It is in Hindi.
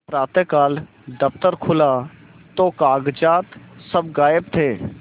प्रातःकाल दफ्तर खुला तो कागजात सब गायब थे